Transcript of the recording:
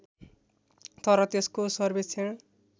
तर त्यसको सर्वेक्षण